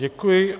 Děkuji.